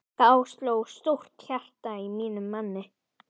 Þá sló stolt hjarta í mínum manni!